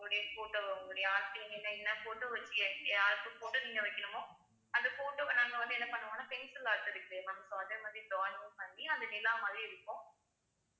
உங்களுடைய photo உங்களுடைய என்ன என்ன photo வச்சு யாருக்கு photo நீங்க வைக்கணுமோ அந்த photo வ நாங்க வந்து என்ன பண்ணுவோன்னா pencil art இருக்கு ma'am so அதே மாதிரி drawing பண்ணி அந்த நிலா மாதிரி இருக்கும்